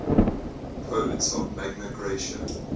poets of magna graecia